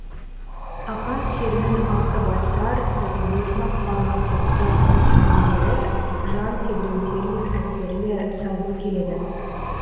ақан серінің алтыбасар сырымбет мақпал ақтоқты әндері жан тебірентерлік әсерлі сазды келеді